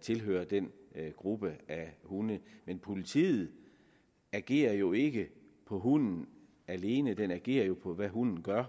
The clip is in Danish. tilhører den gruppe af hunde men politiet agerer jo ikke på hunden alene man agerer på hvad hunden gør